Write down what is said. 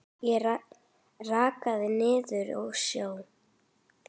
Ég reikaði niður að sjó.